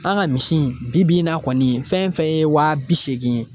An ka misi in, bi bi in na kɔni , fɛn fɛn ye wa bi seegin ye.